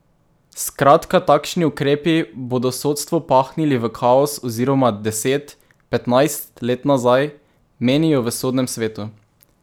Skratka takšni ukrepi bodo sodstvo pahnili v kaos oziroma deset, petnajst let nazaj, menijo v sodnem svetu...